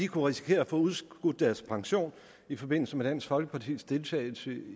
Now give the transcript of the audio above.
kunne risikere at få udskudt deres pension i forbindelse med dansk folkepartis deltagelse